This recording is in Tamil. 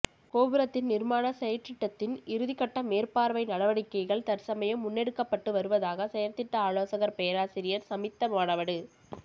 கோபுரத்தின் நிர்மாண செயற்றிட்டத்தின் இறுதிக்கட்ட மேற்பார்வை நடவடிக்கைகள் தற்சமயம் முன்னெடுக்ப்பட்டு வருவதாக செயற்திட்ட ஆலோசகர் பேராசிரியர் சமித்த மானவடு